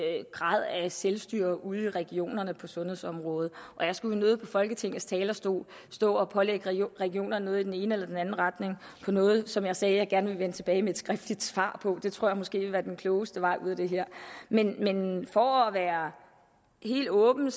grad af selvstyre ude i regionerne på sundhedsområdet og jeg skulle nødigt fra folketingets talerstol stå og pålægge regionerne noget i enten den ene eller den anden retning om noget som jeg sagde at jeg gerne ville vende tilbage med et skriftligt svar på det tror jeg måske ikke vil være den klogeste vej ud af det her men men for at være helt åben